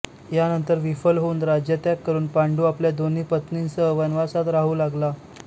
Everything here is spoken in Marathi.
यानंतर विफल होऊन राज्यत्याग करून पांडू आपल्या दोन्ही पत्नींसह वनवासात राहू लागला